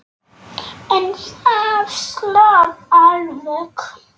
En það slapp alveg.